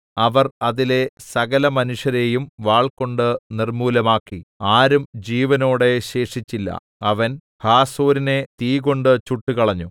അവർ അതിലെ സകലമനുഷ്യരെയും വാൾകൊണ്ട് നിർമ്മൂലമാക്കി ആരും ജീവനോടെ ശേഷിച്ചില്ല അവൻ ഹാസോരിനെ തീകൊണ്ട് ചുട്ടുകളഞ്ഞു